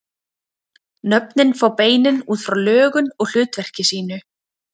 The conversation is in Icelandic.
Nöfnin fá beinin út frá lögun og hlutverki sínu.